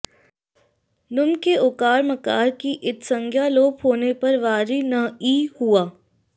नुम् के उकार मकार की इत्संज्ञा लोप होने पर वारि न् ई हुआ